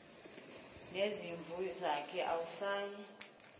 nezimvu zakhe awusayi